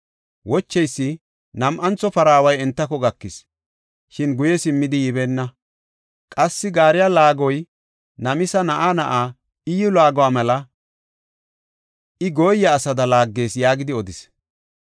Wocheysi, “Nam7antho paraaway entako gakis; shin guye simmidi yibeenna. Qassi gaariya laagoy Namisa na7aa na7aa Iyyu laaguwa mela; I gooya asada laaggees” yaagidi odis.